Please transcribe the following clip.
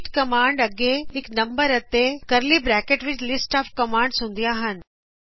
repeat commands ਅੱਗੇ ਇਕ ਨੰਬਰ ਅਤੇ ਕਰਲੀ ਬਰੈਕਟ ਵਿੱਚ ਲਿਸਟ ਆਫ ਕਮਾਂਡਜ਼ ਹੁੰਦਿਆ ਹਨ